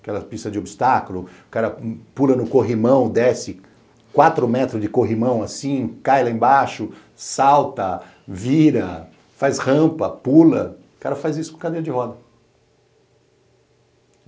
aquela pista de obstáculo, o cara pula num corrimão, desce, quatro metros de corrimão assim, cai lá embaixo, salta, vira, faz rampa, pula, o cara faz isso com cadeira de roda.